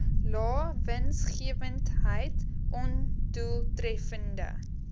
lae winsgewendheid ondoeltreffende